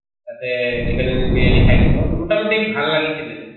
তাতে chicken বিৰিয়ানি খাইছিলো, মোটা মোটি ভাল লাগিছিলে।